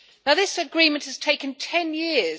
This agreement has taken 10 years.